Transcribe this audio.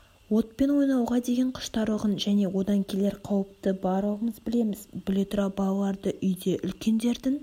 отпен ойнауға деген құштарлығын және одан келер қауіпті барлығымыз білеміз біле тұра балаларды үйде үлкендердің